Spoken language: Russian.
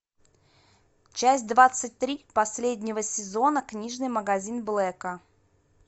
часть двадцать три последнего сезона книжный магазин блэка